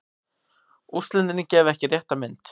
Úrslitin gefa ekki rétta mynd.